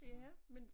Ja men